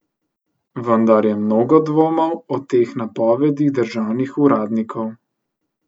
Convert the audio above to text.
Vendar je mnogo dvomov o teh napovedih državnih uradnikov.